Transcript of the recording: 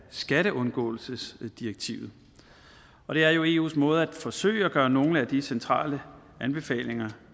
skatteundgåelsesdirektivet og det er jo eus måde at forsøge at gøre nogle af de centrale anbefalinger